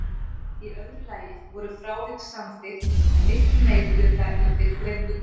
Í öðru lagi voru frávik samþykkt með miklum meirihluta í fyrrgreindu dómsmáli.